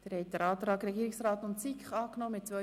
Sie haben den Antrag der SP-JUSO-PSA abgelehnt.